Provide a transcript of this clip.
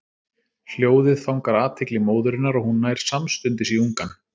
Hljóðið fangar athygli móðurinnar og hún nær samstundis í ungann.